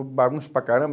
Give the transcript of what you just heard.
Eu bagunço para caramba.